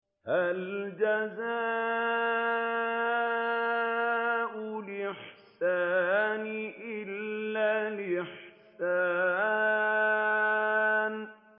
هَلْ جَزَاءُ الْإِحْسَانِ إِلَّا الْإِحْسَانُ